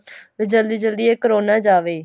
ਤੇ ਜਲਦੀ ਜਲਦੀ ਇਹ ਕਰੋਨਾ ਜਾਵੇ